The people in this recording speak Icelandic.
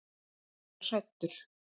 Ég er hræddur.